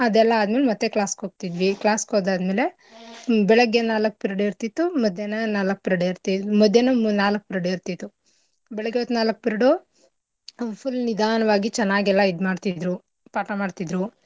ಅದೆಲ್ಲಾ ಆದ್ಮೇಲೆ ಮತ್ತೇ class ಗ್ ಹೋಗ್ತೀವಿ class ಗ್ ಹೋದಾದ್ಮೇಲೆ ಬೆಳಗ್ಗೆ ನಾಲಕ್ period ಇರ್ತಿತ್ತು ಮಧ್ಯಾಹ್ನ ನಾಲಕ್ period ಇರ್ತ ಮಧ್ಯಾಹ್ನ ನಾಲಕ್ period ಇರ್ತಿತ್ತು ಬೆಳಿಗ್ಗೆ ಹೊತ್ತು ನಾಲಾಕ್ period ಉ full ನಿಧಾನವಾಗಿ ಚೆನ್ನಾಗ್ ಎಲ್ಲಾ ಮಾಡ್ತಿದ್ರು ಪಾಠ ಮಾಡ್ತಿದ್ರು.